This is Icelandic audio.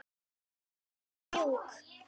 Röddin svo mjúk.